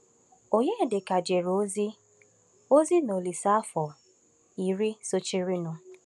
Onyedịka jere ozi ozi na Olíse afọ iri sochirinụ.